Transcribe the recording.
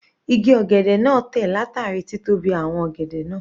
Igi ọ̀gẹ̀dẹ̀ náà tẹ̀ látàrí títóbi àwọn ọ̀gẹ̀dẹ̀ náà.